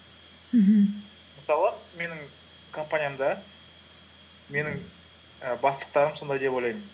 мхм мысалы менің компаниямда менің і бастықтарым сондай деп ойлаймын